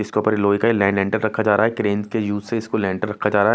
इसके ऊपर लोहे का ये लैंड लेंटर रखा जा रहा क्रेन के यूज से इसको लेंटर रखा जा रहा--